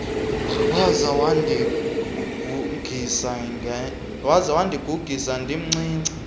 waza wandigugisa ndimncinci